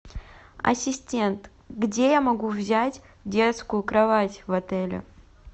ассистент где я могу взять детскую кровать в отеле